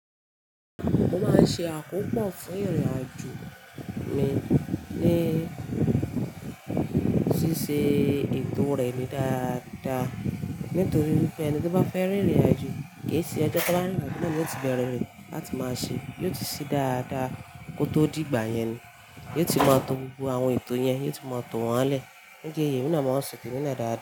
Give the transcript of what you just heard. Mo máa ń ṣe àkópọ̀ fún ìrìnàjò mi ní ṣíṣe ètò rẹ̀ ni dáadáa. Nítorí wípé ẹni tó bá fẹ́ rìnrìnàjò kì í ṣe ojọ́ to ba rinrìn na nio te bere re láti máa ṣe, yóò ti ṣí dáadáa kó tó dì ìgbà yẹn ni, yóò ti máa tọ gbogbo àwọn ètò yẹn, yóò ti máa tọ wọ́n lẹ́ẹ̀. Nídi èyí emi na màá ń sọ temi na dáadáa.